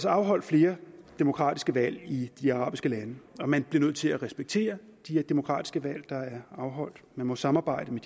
afholdt flere demokratiske valg i de arabiske lande og man bliver nødt til at respektere de demokratiske valg der er afholdt vi må samarbejde med